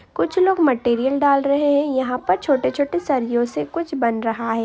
कुछ लोग मटेरियल डाल रहे हैं| यहाँ पर छोटे छोटे सरियों से कुछ बन रहा है।